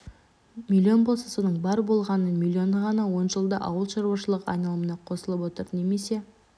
миллион болса соның бар болғаны миллионы ғана он жылда ауыл шаруашылығы айналымына қосылып отыр немесе